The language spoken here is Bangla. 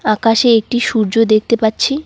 আকাশে একটি সূর্য দেখতে পাচ্ছি।